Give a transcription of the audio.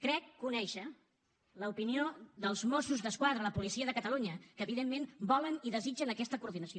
crec conèixer l’opinió dels mossos d’esquadra la policia de catalunya que evidentment volen i desitgen aquesta coordinació